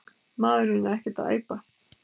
Maðurinn er ekkert að æpa.